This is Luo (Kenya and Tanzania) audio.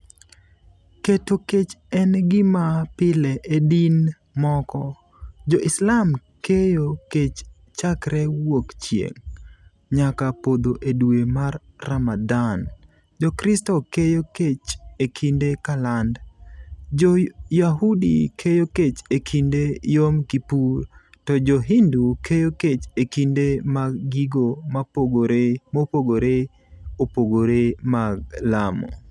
Keto kech en gima pile e din moko - Jo-Islam keyo kech chakre wuok chieng' nyaka podho e dwe mar Ramadan, Jokristo keyo kech e kinde Kaland, Jo-Yahudi keyo kech e kinde Yom Kippur to Jo-Hindu keyo kech e kinde mag gigo mopogore opogore mag lamo.